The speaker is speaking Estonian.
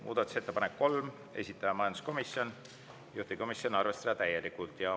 Muudatusettepanek nr 3, esitaja majanduskomisjon, juhtivkomisjoni arvestada seda täielikult.